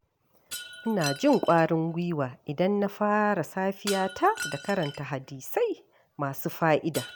Ina jin ƙwarin gwiwa idan na fara safiyata da karanta hadisai masu fa’ida.